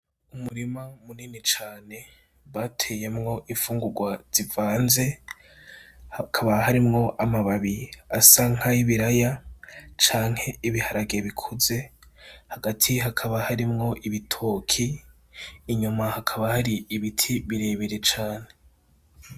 Umurima munini cane bateyemwo infungurwa zivanze hakaba harimwo amababi asa nk’ayibiraya canke ibiharage bikuze ,hagati hakaba harimwo ibitoke inyuma hakaba hari ibiti birebire cane .